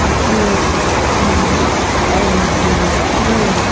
जो की एम_डी हैं।